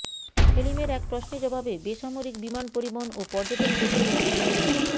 সেলিমের এক প্রশ্নের জবাবে বেসামরিক বিমান পরিবহন ও পর্যটন প্রতিমন্ত্রী মো